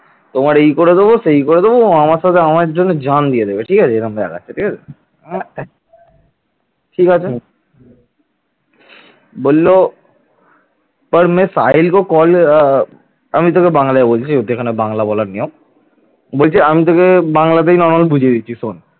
আমি তোকে বাংলায় বলছি, এখানে বাংলায় বলার নিয়ম বলছে, আমি তোকে বাংলাতেই নরমাল বুঝিয়ে দিচ্ছি শোন?